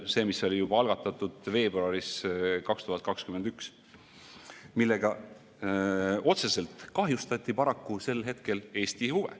See oli juba algatatud veebruaris 2021, millega otseselt kahjustati paraku sel hetkel Eesti huve.